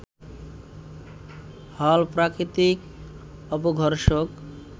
হল প্রাকৃতিক অপঘর্ষক